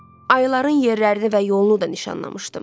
Ayıların yerlərini və yolunu da nişanlamışdım.